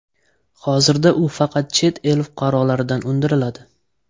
Hozirda u faqat chet el fuqarolaridan undiriladi .